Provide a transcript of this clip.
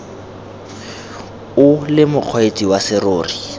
o le mokgweetsi wa serori